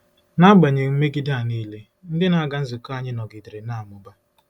N'agbanyeghị mmegide a nile, ndị na-aga nzukọ anyị nọgidere na-amụba.